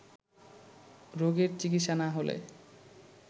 রোগের চিকিৎসা না হলে